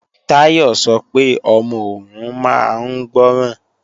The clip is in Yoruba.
Táyọ̀ sọ pé ọmọ òun máa ń gbọ́ràn